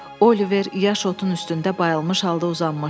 Oliver yaş otun üstündə bayılmış halda uzanmışdı.